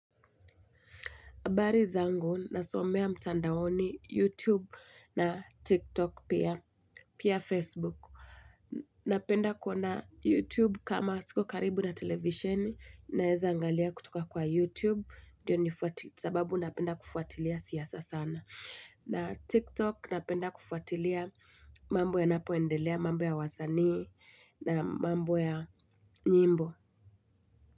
Habari zangu, nasomea mtandaoni YouTube na TikTok pia Facebook. Napenda kuona YouTube kama siko karibu na televisheni, naeza angalia kutoka kwa youTube, sababu napenda kufuatilia siasa sana. Na TikTok napenda kufuatilia mambo ya napoendelea, mambo ya wasanii na mambo ya nyimbo.